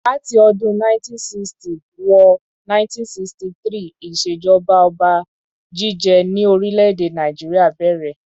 Láti ọdún 1960 wo 1963 ìṣèjọba ọba jíjẹ ni orílè-èdè Nàìjíríà bèrè.